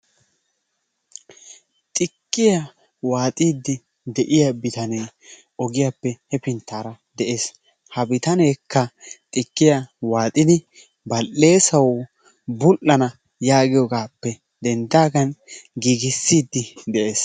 Xikkiyaa waaxidi de'iyaa bitanee ogiyaappe hefinttaara de'ees. Ha bitaneekka xikkiyaa waaxxidi bal"eessawu budhdhana yaagiyoogappe denddaagan giigissiidi de'ees.